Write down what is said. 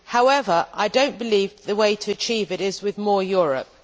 However, I do not believe that the way to achieve it is with more Europe.